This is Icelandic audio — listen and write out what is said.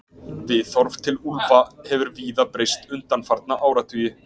Viðhorf til úlfa hefur víða breyst undanfarna áratugi.